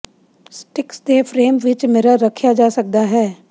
sticks ਦੇ frame ਵਿੱਚ mirror ਰੱਖਿਆ ਜਾ ਸਕਦਾ ਹੈ